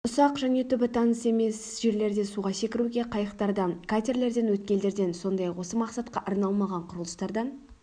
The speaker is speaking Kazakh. ұсақ және түбі таныс емес жерлерде суға секіруге қайықтардан катерлерден өткелдерден сондай-ақ осы мақсатқа арналмаған құрылыстардан